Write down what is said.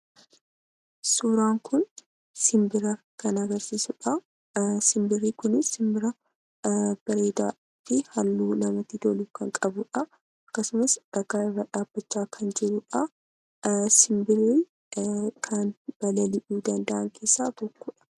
Suuraan kun sibbiraa kan agarsisuudha. Simbirii kun simbiraa bareedafi haalluu namatti tolu kan qabudha. Akkasumaas dhakaa irra dhabbachaa kan jiruudha. Simbirii kan balali'uu danda'aan keessa tokkodha.